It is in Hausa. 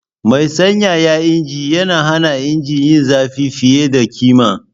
Mai sanyaya injin ya hana injina yin zafi fiye da kima.